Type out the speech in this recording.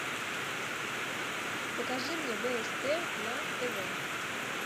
покажи мне бст на тв